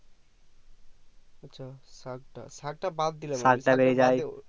আচ্ছা শাক শাকতা বাদ দিলাম